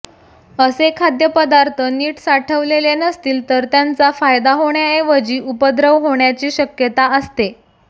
असे खाद्य पदार्थ नीट साठवलेले नसतील तर त्यांचा फायदा होण्याऐवजी उपद्रव होण्याची शक्यता असते